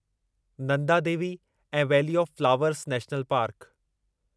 नंदा देवी ऐं valley of flowers national park